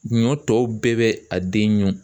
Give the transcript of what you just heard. Ɲɔ tɔw bɛɛ bɛ a den ɲun.